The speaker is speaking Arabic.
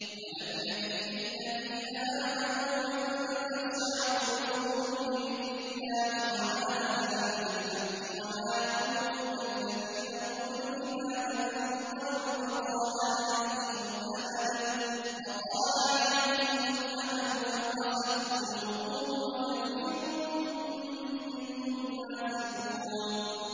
۞ أَلَمْ يَأْنِ لِلَّذِينَ آمَنُوا أَن تَخْشَعَ قُلُوبُهُمْ لِذِكْرِ اللَّهِ وَمَا نَزَلَ مِنَ الْحَقِّ وَلَا يَكُونُوا كَالَّذِينَ أُوتُوا الْكِتَابَ مِن قَبْلُ فَطَالَ عَلَيْهِمُ الْأَمَدُ فَقَسَتْ قُلُوبُهُمْ ۖ وَكَثِيرٌ مِّنْهُمْ فَاسِقُونَ